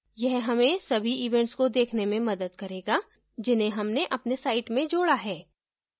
यह हमें सभी events को देखने में मदद करेगा जिन्हें हमने अपने site में जोडा है